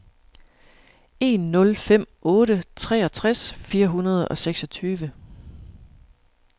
en nul fem otte treogtres fire hundrede og seksogtyve